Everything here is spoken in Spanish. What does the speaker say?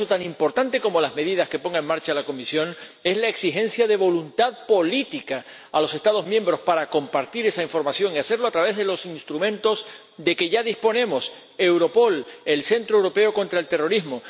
Por eso, tan importante como las medidas que ponga en marcha la Comisión es la exigencia de voluntad política a los Estados miembros para compartir esa información y hacerlo a través de los instrumentos de que ya disponemos Europol, el centro europeo contra el terrorismo.